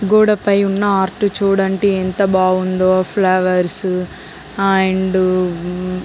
గోడ పై ఉన్న ఆర్ట్ చుడండి.ఎంత బాగుందో. Flowers and